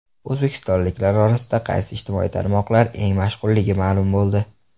O‘zbekistonliklar orasida qaysi ijtimoiy tarmoqlar eng mashhurligi ma’lum bo‘ldi .